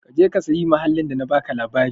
Ka je ka sayi mahallin da na baka labari.